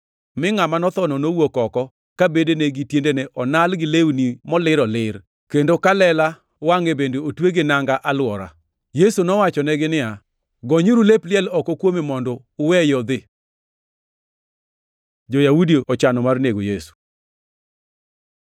Mi ngʼama nothono nowuok oko, ka bedene gi tiendene onal gi lewni molir olir, kendo ka lela wangʼe bende otwe gi nanga alwora. Yesu nowachonegi niya, “Gonyuru lep liel oko kuome mondo uweye odhi.” Jo-Yahudi ochano mar nego Yesu